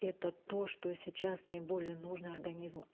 это то что сейчас наиболее нужно организму